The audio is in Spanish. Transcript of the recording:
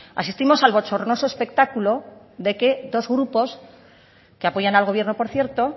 asistimos al bochornoso espectáculo de que dos grupos que apoyan al gobierno por cierto